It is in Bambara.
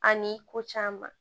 Ani ko caman